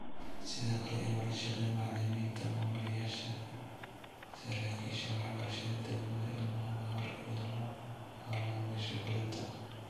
Sidoo kale in lala shaqeeyo macalimiinta, maamulayaasha, saraakiisha waxbarashada degmada ilmanimada hore, iyo la-hawlgalayaasha fulinta.